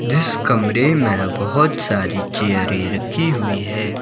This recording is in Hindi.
जिस कमरे में बहोत सारी चेयरें रखी हुई हैं।